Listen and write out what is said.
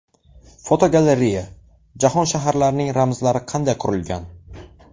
Fotogalereya: Jahon shaharlarining ramzlari qanday qurilgan?.